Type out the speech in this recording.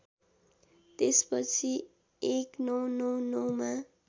त्यसपछि १९९९ मा